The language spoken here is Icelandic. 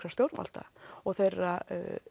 stjórnvalda og þeirra